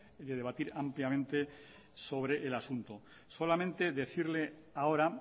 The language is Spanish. de debatir ampliamente sobre el asunto solamente decirle ahora